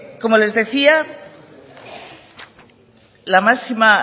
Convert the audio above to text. como les decía la máxima